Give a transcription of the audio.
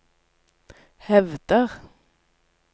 hevder